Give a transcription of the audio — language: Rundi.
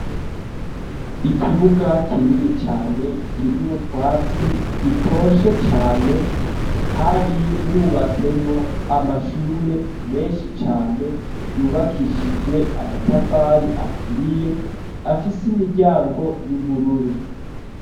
Ikibuga kinini cane kirimwo utwatsi dutoshe cane hari hubatsemwo amashure meshi cane yubakishijwe amatafari aturiye afise imiryango y'ubururu.